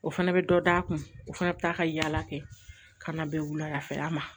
O fana bɛ dɔ d'a kun o fana bɛ taa ka yaala kɛ ka na bɛ wulada fɛ a ma